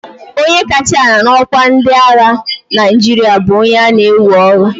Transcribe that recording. onye kacha ala n'ọkwa na ndị agha Naịjirịa bụ onye a na-ewe ọrụ